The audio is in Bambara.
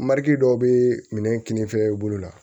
Mari dɔw bee minɛ kinnifɛn i bolo la